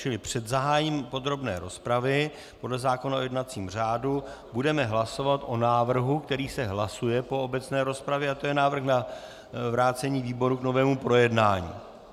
Čili před zahájením podrobné rozpravy podle zákona o jednacím řádu budeme hlasovat o návrhu, který se hlasuje po obecné rozpravě, a to je návrh na vrácení výboru k novému projednání.